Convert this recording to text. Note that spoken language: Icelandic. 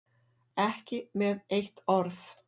Ekki með eitt orð.